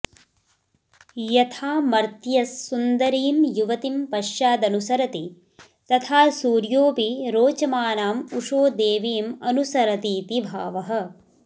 यथा मर्त्यस्सुन्दरीं युवतिं पश्चादनुसरति तथा सूर्योऽपि रोचमानां उषोदेवीमनुस्रतीति भावः